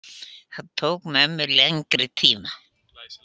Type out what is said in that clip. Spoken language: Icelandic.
Það tók mömmu lengri tíma.